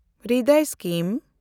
Hriday scheme